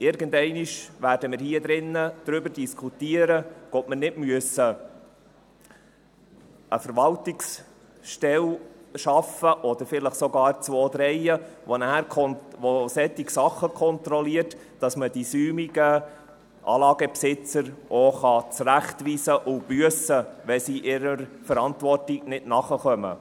Irgendeinmal werden wir hier drin also darüber diskutieren, ob wir eine Verwaltungsstelle schaffen müssen, oder vielleicht zwei, drei, welche solche Dinge kontrolliert, sodass man die säumigen Anlagebesitzer auch zurechtweisen und büssen kann, wenn sie ihrer Verantwortung nicht nachkommen.